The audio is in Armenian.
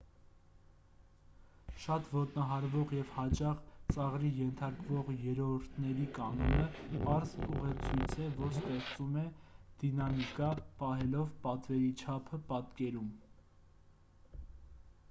շատ ոտնահարվող և հաճախ ծաղրի ենթարկվող երրորդների կանոնը պարզ ուղեցույց է որ ստեղծում է դինամիկա պահելով պատվերի չափը պատկերում